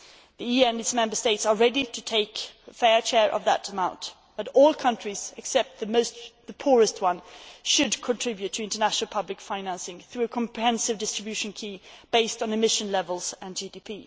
The EU and its Member States are ready to take a fair share of that amount, but all countries except the poorest ones should contribute to international public financing through a comprehensive distribution key based on emission levels and GDP.